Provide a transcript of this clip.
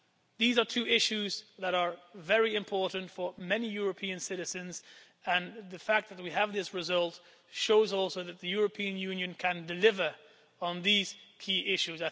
These are two issues that are very important for many European citizens, and the fact that we have this result also shows that the European Union can deliver on these key issues.